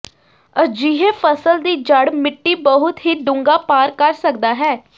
ਅਜਿਹੇ ਫਸਲ ਦੀ ਜੜ੍ਹ ਮਿੱਟੀ ਬਹੁਤ ਹੀ ਡੂੰਘਾ ਪਾਰ ਕਰ ਸਕਦਾ ਹੈ